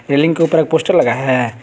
Railing के ऊपर poster लगा है।